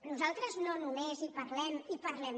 nosaltres no només hi parlem i en parlem